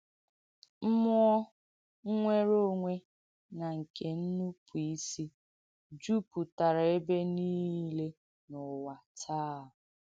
M̀mụ́ọ̀ ǹnwèrē ònwè na nke ǹnùpụ̀ìsì jùpùtàrà ebe niile n’ùwà tàà.